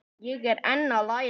Ég er enn að læra.